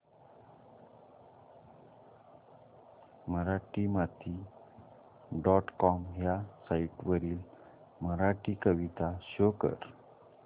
Marathimati dot com ह्या site वरील मराठी कविता शो कर